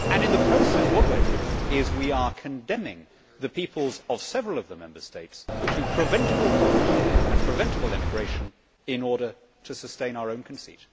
In the process, what we are doing is condemning the peoples of several of the Member States to preventable poverty and preventable emigration, in order to sustain our own conceit.